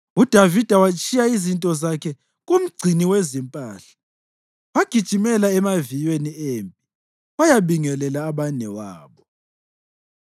UDavida watshiya izinto zakhe kumgcini wezimpahla, wagijimela emaviyweni empi wayabingelela abanewabo.